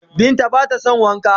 Binta ba ta don Wanka.